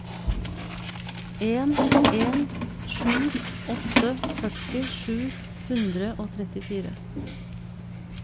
en en sju åtte førti sju hundre og trettifire